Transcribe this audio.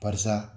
Barisa